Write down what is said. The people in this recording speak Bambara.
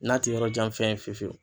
N'a ti yɔrɔjanfɛn fiyefiyewu.